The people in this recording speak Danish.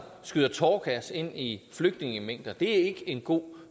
skyder tåregas ind i flygtningemængder det er ikke en god